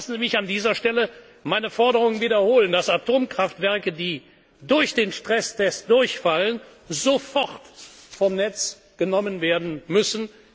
dazu vorlegen. Lassen Sie mich an dieser Stelle meine Forderung wiederholen, dass Atomkraftwerke, die beim Stresstest durchfallen, sofort vom Netz genommen